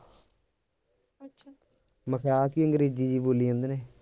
ਮੈਂ ਕਿਹਾ ਆਹ ਕੀ ਅੰਗਰੇਜੀ ਜਿਹੀ ਬੋਲੀ ਜਾਂਦੇ ਨੇ,